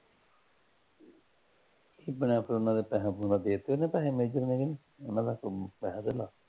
ਦੇ ਪੈਸੇ ਪੂਸੇ ਦੇ ਦਿੱਤੇ ਫੇਰ ਤੁਹਾਡੇ ਨੇ, ਮੈਂ ਕਿਹਾ ਤੁਹਾਨੂੰ ਵੀ ਪੈਸੇ ਦੇ ਦਾਂ